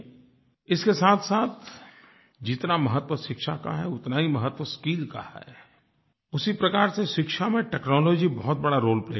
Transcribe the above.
इसके साथसाथ जितना महत्व शिक्षा का है उतना ही महत्व स्किल का है उसी प्रकार से शिक्षा में टेक्नोलॉजी बहुत बड़ा रोले प्ले करेगी